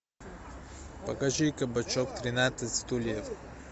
покажи кабачок тринадцать стульев